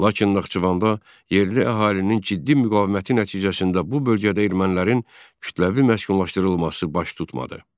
Lakin Naxçıvanda yerli əhalinin ciddi müqaviməti nəticəsində bu bölgədə ermənilərin kütləvi məskunlaşdırılması baş tutmadı.